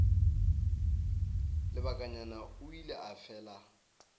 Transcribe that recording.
lebakanyana o ile a fela